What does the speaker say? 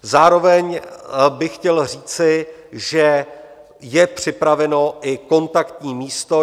Zároveň bych chtěl říci, že je připraveno i kontaktní místo.